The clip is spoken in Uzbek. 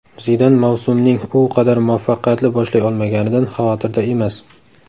Zidan mavsumning u qadar muvaffaqiyatli boshlay olmaganidan xavotirda emas.